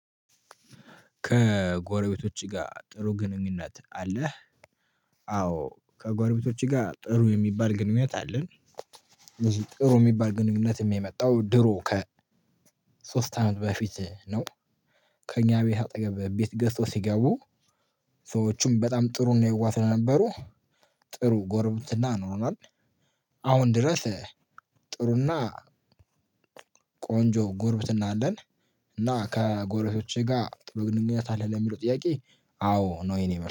ከጎረቤቶች ጋር ጥሩ ግንኙነት አለህ? አዎ ከጎረቤቶች ጋር ጥሩ የሚባል ግንኙነት አለን። ጥሩ ሚባል ግንኙነትም የመጣው ድሮ ከሶስት አመት በፊት ነው። ከኛ ቤት አጠገብ ቤት ገዝተው ሲገቡ። ሰዎቹም በጣም ጥሩ እና የዋህ ስለነበሩ። ጥሩ ጉርብትና ኖሮናል። አሁን ድረስ ጥሩና ቆንጆ ጎርብትና አለን። እና ከጎሮቤቶቼ ጋር ጥሩ ግንኙነት አለህ? ለሚለው ጥያቄ አዎ ነው የኔ